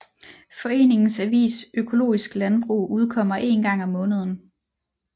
Foreningens avis Økologisk Landbrug udkommer én gang om måneden